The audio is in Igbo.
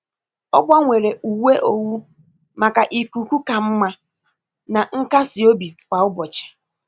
Ọ gbanwere uwe owu maka ikuku ka mma na nkasi obi kwa ụbọchị.